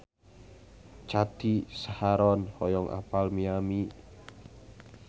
Cathy Sharon hoyong apal Miami